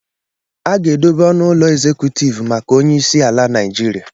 A ga-edobe ọnụ ụlọ ezekutivụ maka onyeisi ala Niijiria.